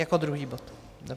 Jako druhý bod?